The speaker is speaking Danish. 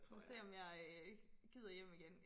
Se om jeg gider hjem igen